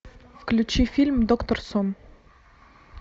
включи фильм доктор сон